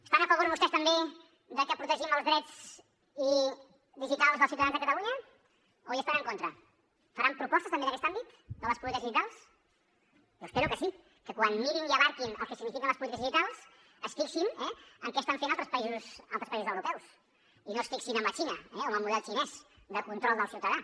estan a favor vostès també de que protegim els drets digitals dels ciutadans de catalunya o hi estan en contra faran propostes també en aquest àmbit de les polítiques digitals jo espero que sí que quan mirin i abastin el que signifiquen les polítiques digitals es fixin en què estan fent altres països europeus i no es fixin amb la xina o amb el model xinès de control del ciutadà